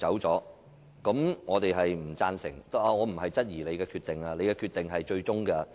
然而，我並非質疑你的決定，因為你的裁決是最終決定。